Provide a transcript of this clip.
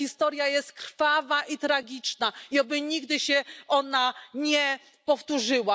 Ta historia jest krwawa i tragiczna i oby nigdy się nie powtórzyła.